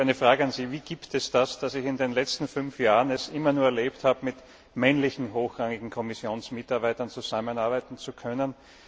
Ich habe eine Frage an Sie Wie kommt es, dass ich in den letzten fünf Jahren immer nur erlebt habe, mit männlichen hochrangigen Kommissionsmitarbeitern zusammenarbeiten zu können.